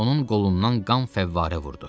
Onun qolundan qan fəvvarə vurdu.